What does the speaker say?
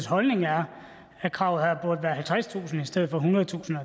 holdning er at kravet her burde være halvtredstusind kroner i stedet for ethundredetusind